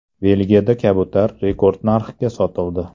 Belgiyada kabutar rekord narxga sotildi.